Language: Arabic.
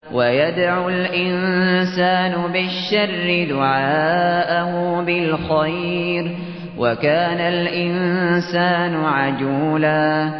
وَيَدْعُ الْإِنسَانُ بِالشَّرِّ دُعَاءَهُ بِالْخَيْرِ ۖ وَكَانَ الْإِنسَانُ عَجُولًا